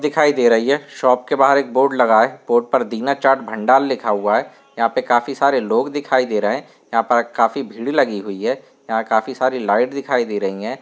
दिखाई दे रही है। शॉप के बाहर एक बोर्ड लगा है। बोर्ड पर दिना चाट भंडार लिखा हुआ है। यहाँं पर काफी सारे लोग दिखाई दे रहे है यहाँं पर काफी भीड़ लगी हुई है यहाँं पर काफी सारी लाइट दिखाई दे रही हैं।